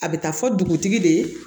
A bɛ taa fɔ dugutigi de ye